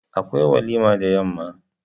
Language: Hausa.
Akwai walima da yamma.